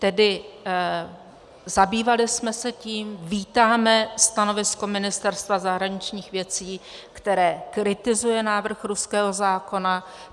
Tedy zabývali jsme se tím, vítáme stanovisko Ministerstva zahraničních věcí, které kritizuje návrh ruského zákona.